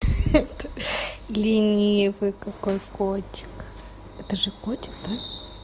ёпта ленивый какой котик это тоже котик да